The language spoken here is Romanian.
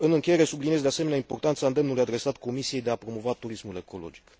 În încheiere subliniez, de asemenea, importanța îndemnului adresat Comisiei de a promova turismul ecologic.